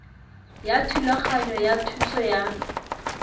ya thulaganyo ya thuso ya